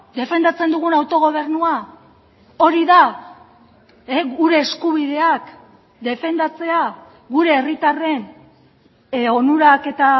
defendatzen dugun autogobernua hori da gure eskubideak defendatzea gure herritarren onurak eta